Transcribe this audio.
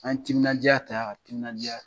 An ye timinadiya ta ka timinadiya